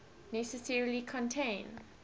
necessarily contain